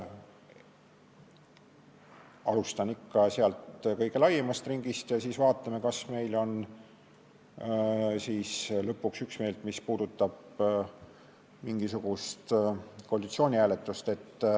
Alustame ikka kõige laiemast ringist ja siis vaatame, kas meil on üksmeelt, mis puudutab mingisugust koalitsiooni hääletust.